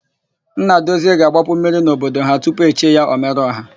Nnadozie ga-agbapu mmiri n'obodo ha tupu e chie ya, Ọmereọha.